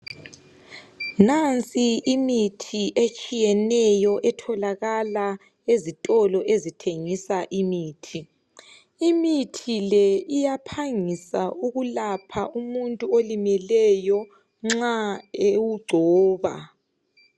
Nansi imithi etshiyeneyo etholakala ezitolo ezithengisa imithi, imithi le iyaphangisa ukulapha umuntu olimeleyo nxa ewugcoba